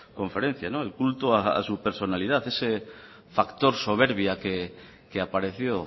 conferencia el culto a su personalidad ese factor soberbia que apareció